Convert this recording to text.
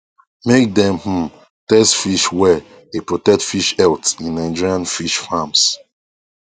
make dem um test fish well dey protect fish health in nigerian fish farms